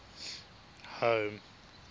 home